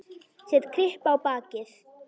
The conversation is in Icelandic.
Set kryppu á bakið.